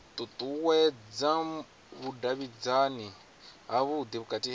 ṱuṱuwedza vhudavhidzani havhudi vhukati ha